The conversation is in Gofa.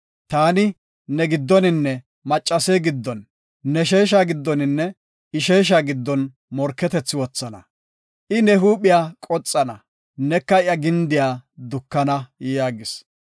Taani, ne giddoninne maccase giddon, ne sheesha giddoninne I sheesha giddon morketethi wothana. I ne huuphiya qoxana, neka iya gindiya dukana” yaagis.